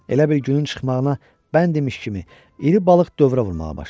Elə bil günün çıxmağına bənd demiş kimi, iri balıq dövrə vurmağa başladı.